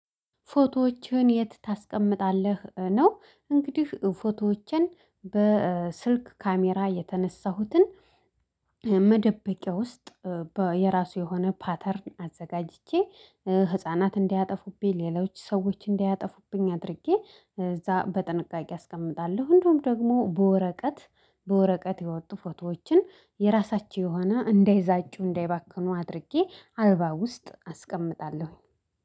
ፎቶዎችን የት ታስቀምጣለህ? ነው እንግዲህ ፎቶዎችን በስልክ ካሜራ የተነሳሁትን መደበቂያ ውስጥ የራሱ የሆነ ፓተርን አዘጋጅቼ ህፃናት እንዲያጠፉብኝ ሌሎች ሰዎች እንዲያጠፉብኝ አድርጌ እዛ በጥንቃቄ አስቀምጣለሁ እንደውም ደግሞ በወረቀት በወረቀት የወጡ ፎቶዎችን የራሳቸው የሆነ እንዳይዛጩ እንዳይባክኑ አድርጌ አልባ ውስጥ አስቀምጣለሁኝ።